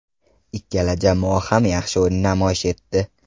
Ikkala jamoa ham yaxshi o‘yin namoyish etdi.